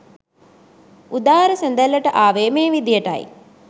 උදාරි සැඳැල්ලට ආවේ මේ විදියටයි.